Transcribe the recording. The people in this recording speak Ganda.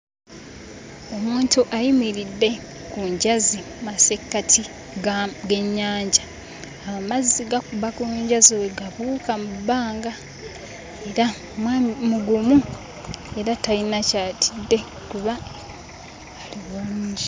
Omuntu ayimiridde ku njazi mu masekkati ga g'ennyanja. Amazzi gakuba ku njazi bwe gabuuka mu bbanga era omwami mugumu era talina ky'atidde kuba ali bulungi.